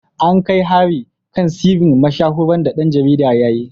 An kai hari kan sirrin mashahuran da ɗan jarida ya yi.